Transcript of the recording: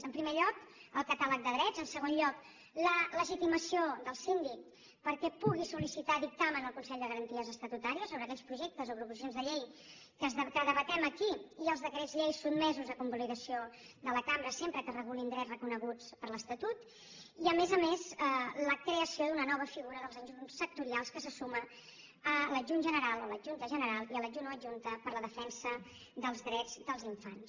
en primer lloc el catàleg de drets en segon lloc la legitimació del síndic perquè pugui sol·licitar dictamen al consell de garanties estatutàries sobre aquells projectes o proposicions de llei que debatem aquí i els decrets llei sotmesos a convalidació de la cambra sempre que es regulin drets reconeguts per l’estatut i a més a més la creació d’una nova figura els adjunts sectorials que se suma a l’adjunt general o l’adjunta general i a l’adjunt o adjunta per a la defensa dels drets dels infants